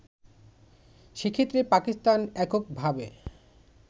সেক্ষেত্রে পাকিস্তান এককভাবে